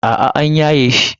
A'a an yaye shi.